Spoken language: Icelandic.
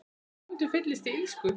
En stundum fyllist ég illsku.